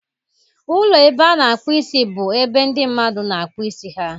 Ụlọ ebe a na-akpụ isi, bụ ebe ndọ mmadụ na-akpụ isi ha.